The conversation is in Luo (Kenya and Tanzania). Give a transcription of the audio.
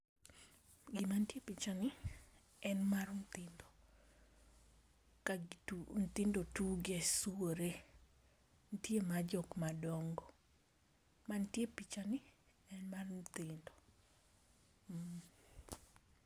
Gima nitie e picha ni, en mar nyithindo. Ka gi tu, nyithindo tuge, swore, nitie mar jok ma dongo. Mantie e picha ni en mar nyithindo. Mmhh..